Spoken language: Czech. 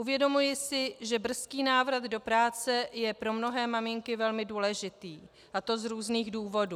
Uvědomuji si, že brzký návrat do práce je pro mnohé maminky velmi důležitý, a to z různých důvodů.